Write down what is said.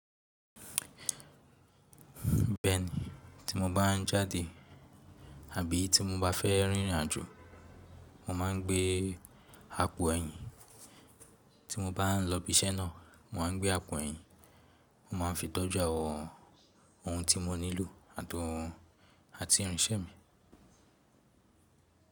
Bẹ́ẹ̀ni, tí mo bá ń jáde àbí tí mo bá fẹ́ rìnrìn àjò, mo má ń gbé àpò ẹyin. Tí mo bá ń lọ ibi iṣẹ́ náà, mo má ń gbé àpò ẹyin. Mo máa ń fi tọ́jú àwọn oun tí mo nílò àti oun àti irinṣẹ́ mi.